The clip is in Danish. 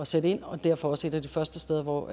sætte ind og derfor også et af de første steder hvor